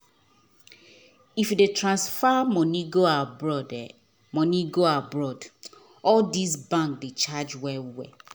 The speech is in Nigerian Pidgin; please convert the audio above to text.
if you dey transfer money go abroad money go abroad all these bank dey charge well well